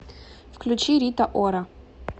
включи рита ора